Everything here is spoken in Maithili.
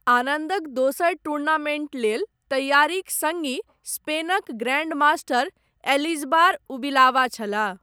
आनन्दक दोसर टूर्नामेण्ट लेल तैयारीक सङ्गी, स्पेनक ग्रैण्डमास्टर, एलिजबार उबिलावा छलाह।